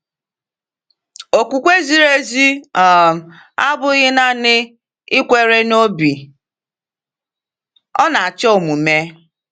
Okwukwe ziri ezi um abụghị naanị ikwere n’obi — ọ na-achọ omume.